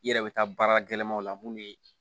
I yɛrɛ bɛ taa baara gɛlɛmaw la mun ye